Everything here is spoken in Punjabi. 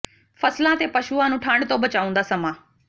ਫ਼ਸਲਾਂ ਤੇ ਪਸ਼ੂਆਂ ਨੂੰ ਠੰਢ ਤੋਂ ਬਚਾਉਣ ਦਾ ਸਮਾਂ